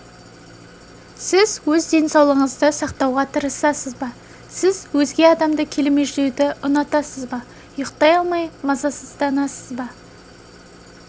сіз өз денсаулығыңызды сақтауға тырысасыз ба сіз өзге адамды келемеждеуді ұнатасыз ба ұйықтай алмай мазасызданасыз ба